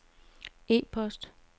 e-post